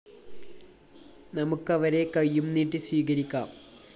നമുക്കവരെ കൈയും നീട്ടി സ്വീകരിക്കാം